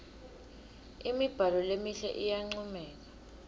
imibhalo lemihle iyancomeka